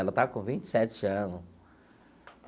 Ela está com vinte e sete ano.